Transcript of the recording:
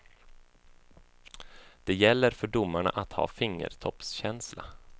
Det gäller för domarna att ha fingertoppskänsla.